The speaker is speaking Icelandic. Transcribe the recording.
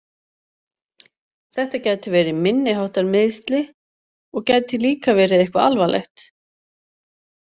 Þetta gætu verið minniháttar meiðsli og gæti líka verið eitthvað alvarlegt.